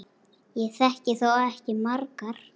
Ég þekki þó ekki margar.